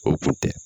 O kun tɛ